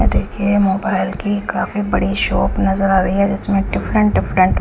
ये देखिये मोबाइल की काफी बड़ी शॉप नज़र आ रही है जिसमे दिफ्फ्रेंट दिफ्फ्रेंट --